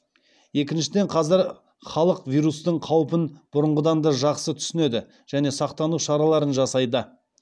екіншіден қазір халық вирустың қаупін бұрынғыдан да жақсы түсінеді және сақтану шараларын жасайды